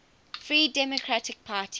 free democratic party